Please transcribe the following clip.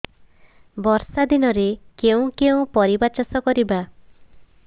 ବର୍ଷା ଦିନରେ କେଉଁ କେଉଁ ପରିବା ଚାଷ କରିବା